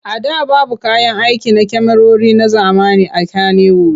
A da babu kayan aiki na kyamarori na zamani a Kanniwud.